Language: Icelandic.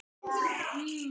Mig grunar það.